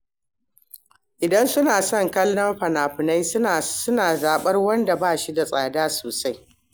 Idan suna son kallon fina-finai, sukan zaɓi waɗanda ba su da tsada sosai.